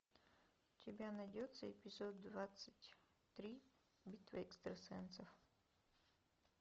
у тебя найдется эпизод двадцать три битва экстрасенсов